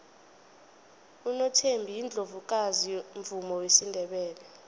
unothembi yiundlovukazi yomvumo wesindebele